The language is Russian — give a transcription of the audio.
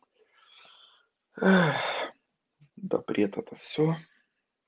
да бред это все